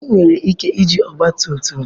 Anyị nwere ike iji ọgba tum tum gị gaa?